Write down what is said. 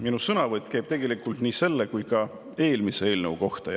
Minu sõnavõtt käib tegelikult nii selle kui ka eelmise eelnõu kohta.